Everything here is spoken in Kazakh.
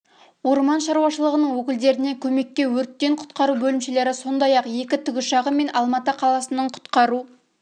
орман шаруашылығының өкілдеріне көмекке өрттен құтқару бөлімшелері сондай-ақ екі тікұшағы мен алматы қаласының құтқару